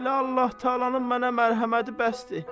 Elə Allah-Təalanın mənə mərhəməti bəsdir.